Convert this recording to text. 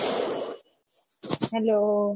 hello